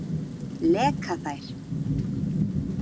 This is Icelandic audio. Leka þær?